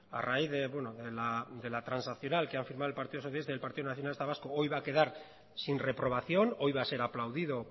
a raíz de bueno de la transaccional que ha firmado el partido socialista y el partido nacionalista vasco hoy va a quedar sin reprobación hoy va a ser aplaudido